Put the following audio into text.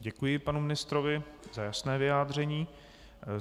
Děkuji panu ministrovi za jasné vyjádření.